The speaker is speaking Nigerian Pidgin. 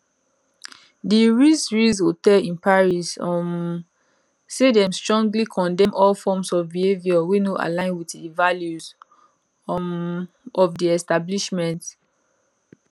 di ritz ritz hotel in paris um say dem strongly condemn all forms of behaviour wey no align with di values um of di establishment